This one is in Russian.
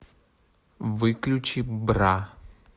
выключи бра